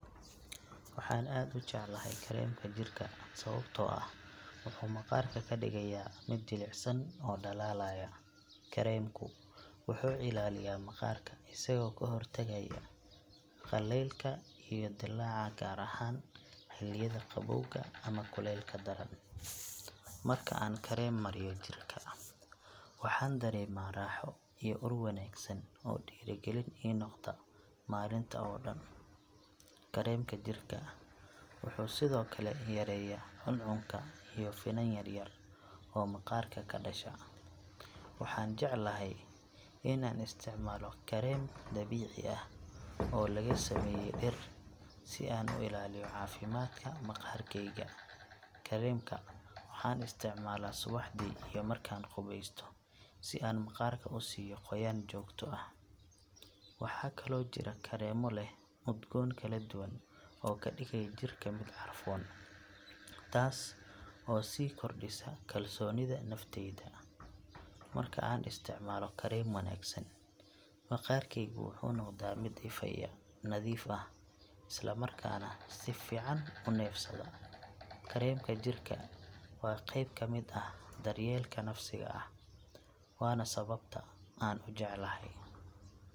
Waxaan aad u jeclahay kareemka jirka sababtoo ah wuxuu maqaarka ka dhigayaa mid jilicsan oo dhalaalaya. Kareemku wuxuu ilaaliyaa maqaarka isagoo ka hortagaya qallaylka iyo dillaaca gaar ahaan xilliyada qabowga ama kulaylka daran. Marka aan kareem mariyo jirka, waxaan dareemaa raaxo iyo ur wanaagsan oo dhiirrigelin ii noqda maalinta oo dhan. Kareemka jirka wuxuu sidoo kale yareeyaa cuncunka iyo finan yar yar oo maqaarka ka dhasha. Waxaan jeclahay in aan isticmaalo kareem dabiici ah oo laga sameeyey dhir si aan u ilaaliyo caafimaadka maqaarkeyga. Kareemka waxaan isticmaalaa subaxdii iyo markaan qubeysto si aan maqaarka u siiyo qoyaan joogto ah. Waxaa kaloo jira kareemo leh udgoon kala duwan oo ka dhigaya jirka mid carfoon, taas oo sii kordhisa kalsoonida nafteyda. Marka aan isticmaalo kareem wanaagsan, maqaarkeygu wuxuu noqdaa mid ifaya, nadiif ah, isla markaana si fiican u neefsada. Kareemka jirka waa qeyb ka mid ah daryeelka nafsiga ah, waana sababta aan u jecelahay.